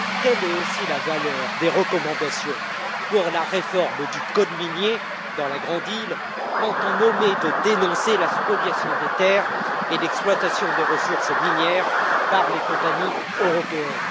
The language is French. Quelle est aussi la valeur des recommandations pour la réforme du code minier dans la grande île, quand on omet de dénoncer la spoliation des terres et l'exploitation des ressources minières par les compagnies européennes?